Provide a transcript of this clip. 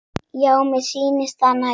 Já, mér sýnist það nægja!